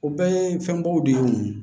O bɛɛ ye fɛnbaw de ye o